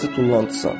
sadəcə tullantısan.